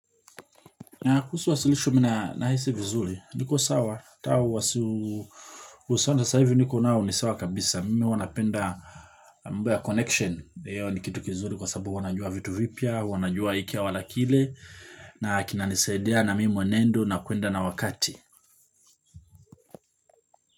Na kuhusu wasilishu mna na hisi vizuri, niko sawa, tau wasi husonda sa hivi niko na unisawa kabisa, mimi huwanapenda mba ya connection, hiyo nikitukizuli kwa sababu wanajua vitu vipya, wanajua hiki wala kile, na kinanisaidia na mimi mwenendo na kuenda na wakati.